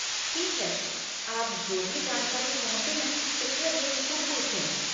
ठीक है, आप जो भी जानकारी चाहते हैं कृपया बेझिझक पूछें।